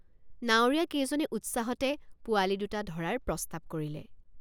নাৱৰীয়াকেইজনে উৎসাহতে পোৱালি দুটা ধৰাৰ প্ৰস্তাৱ কৰিলে।